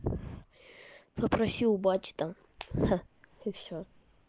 попроси у бати там и всё